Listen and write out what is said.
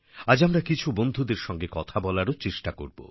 আজ আমরা কিছু বন্ধুদের সঙ্গে কথা বলারো চেষ্টা করব